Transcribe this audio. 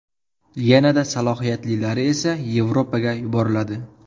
Yana-da salohiyatlilari esa Yevropaga yuboriladi.